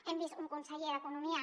hem vist un conseller d’economia